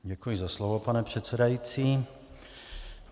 Děkuji za slovo, pane předsedající.